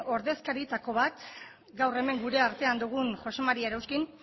ordezkarietako bat gaur hemen gure artean dugun josé maría erauskin